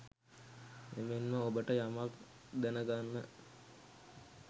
එමෙන්ම ඔබට යමක් දැනගෙන